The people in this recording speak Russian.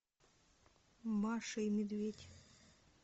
маша и медведь